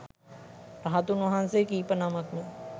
රහතුන් වහන්සේ කීප නමක් ම